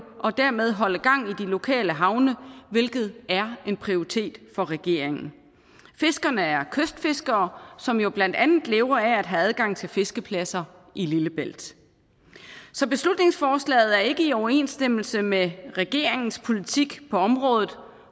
og dermed holde gang i de lokale havne hvilket er en prioritet for regeringen fiskerne er kystfiskere som jo blandt andet lever af at have adgang til fiskepladser i lillebælt så beslutningsforslaget er ikke i overensstemmelse med regeringens politik på området